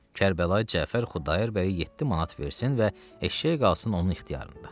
Kərbəlayı Cəfər Xudayar bəyə 7 manat versin və eşşək qalsın onun ixtiyarında.